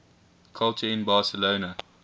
culture in barcelona